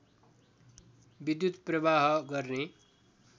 विद्युत् प्रवाह गर्ने